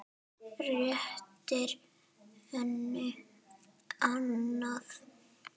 Réttir henni annað.